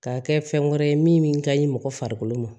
Ka kɛ fɛn wɛrɛ ye min ka ɲi mɔgɔ farikolo ma